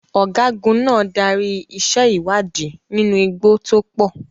Ọ̀gágun náà darí iṣẹ́ ìwádìí nínú igbó tó pọ̀.